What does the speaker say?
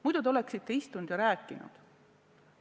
Muidu te oleksite rääkinud.